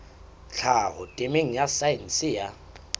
tlhaho temeng ya saense ya